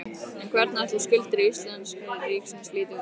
En hvernig ætli skuldir íslenska ríkisins líti út?